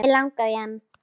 Mig langaði í hana.